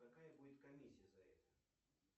какая будет комиссия за это